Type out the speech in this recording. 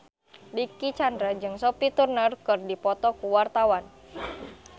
Dicky Chandra jeung Sophie Turner keur dipoto ku wartawan